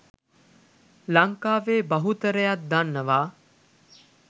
ලංකාවේ බහුතරයක් දන්නවා.